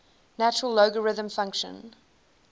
natural logarithm function